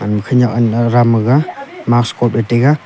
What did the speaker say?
khanyak anda ram maga mas khop e taiga.